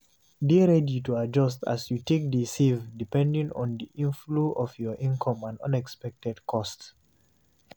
Dey ready to adjust as you take de save depending on the inflow of your income and unexpected costs